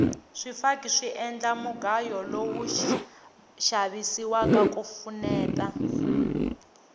swifaki swi endla mugayo lowu xavisiwaka ku pfuneta